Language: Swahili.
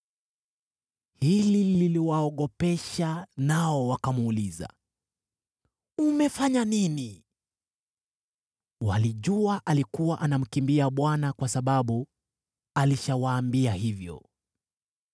Hili liliwaogopesha nao wakamuuliza, “Umefanya nini?” (Walijua alikuwa anamkimbia Bwana , kwa sababu alishawaambia hivyo.)